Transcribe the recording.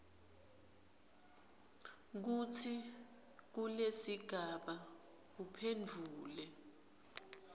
kutsi kulesigaba uphendvule